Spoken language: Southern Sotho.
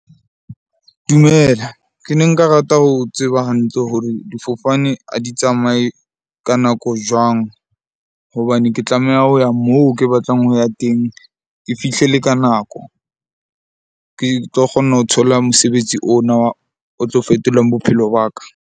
Dumela, ke ne nka rata ho tseba hantle hore difofane ha di tsamaye ka nako jwang? Hobane ke tlameha ho ya moo ke batlang ho ya teng. Ke fihle le ka nako, ke tlo kgona ho thola mosebetsi ona o tlo fetolang bophelo ba ka.